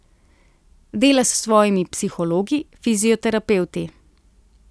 Dela s svojimi psihologi, fizioterapevti.